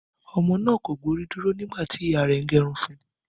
Ọmọ náà kò gbórí dúró nígbà tí ìyá rẹ̀ ń gẹrun fun